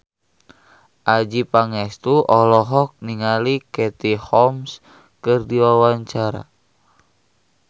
Adjie Pangestu olohok ningali Katie Holmes keur diwawancara